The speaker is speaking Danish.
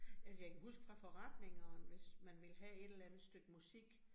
Altså jeg kan huke fra forretningerne, hvis man ville have et eller andet stykke musik